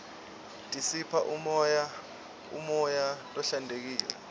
tisipha umoya lohlantekile